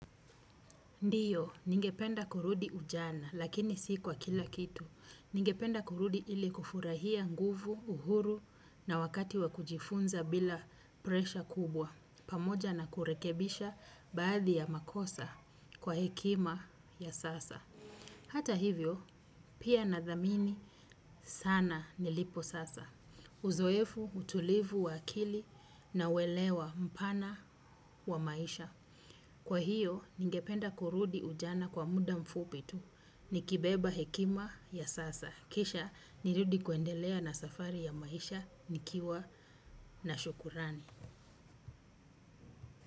Ndiyo, ningependa kurudi ujana, lakini si kwa kila kitu. Ningependa kurudi ili kufurahia nguvu, uhuru na wakati wa kujifunza bila presha kubwa. Pamoja na kurekebisha baadhi ya makosa kwa hekima ya sasa. Hata hivyo, pia nathamini sana nilipo sasa. Uzoefu, utulivu wa akili na welewa mpana wa maisha. Kwa hiyo, ningependa kurudi ujana kwa muda mfupi tu, nikibeba hekima ya sasa. Kisha, nirudi kuendelea na safari ya maisha, nikiwa na shukrani.